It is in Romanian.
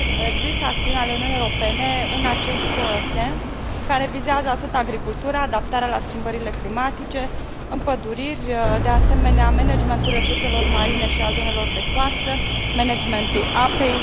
Există acțiuni ale Uniunii Europene în acest sens, care vizează atât agricultura, adaptarea la schimbările climatice, împăduririle, cât și managementul resurselor marine și al zonelor de coastă și managementul apei.